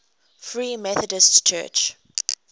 free methodist church